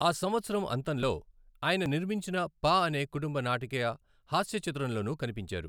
ఆ సంవత్సరం అంతంలో ఆయన నిర్మించిన 'పా' అనే కుటుంబ నాటకీయ హస్య చిత్రంలోనూ కనిపించారు.